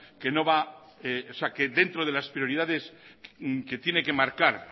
que dentro de las prioridades que tiene que marcar